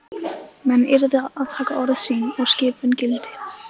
Menn yrðu að taka orð sín og skipun gild.